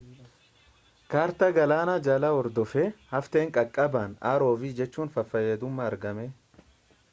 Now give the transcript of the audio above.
kaartaa galaana jalaa hordofee hafteen caccabaan rov fayyadamuun argame